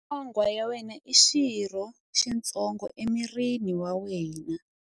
Nyonghwa ya wena i xirho xitsongo emirini wa wena.